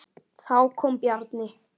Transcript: Þá kom Bjarni.